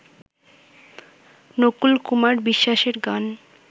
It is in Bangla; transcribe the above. নকুল কুমার বিশ্বাসের গান